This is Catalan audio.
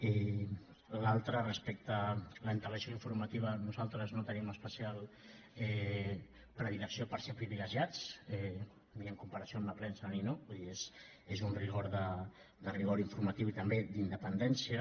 i l’altra respecte a l’antelació informativa nosaltres no tenim especial predilecció per ser privilegiats ni en comparació amb la premsa ni no vull dir és un rigor de rigor informatiu i també d’independència